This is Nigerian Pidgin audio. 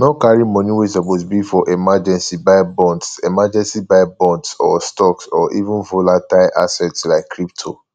no carry money wey suppose be for emergency buy bonds emergency buy bonds or stocks or even volatile assets like crypto